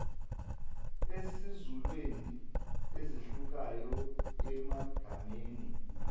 esizulwini ezehlukayo emagameni